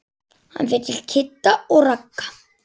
Hann fer til Kidda og Ragga.